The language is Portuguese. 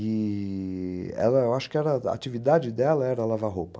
E.... ela eu acho que a atividade dela era lavar roupa.